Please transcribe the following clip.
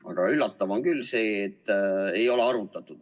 Aga üllatav on küll see, et ei ole arutatud.